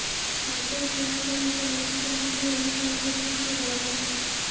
photo share କରି ସେ ଲେଖିଛନ୍ତି ଯେ ଏହି କାର୍ଯ୍ୟ ପାଇଁ ସେ ଗର୍ବିତ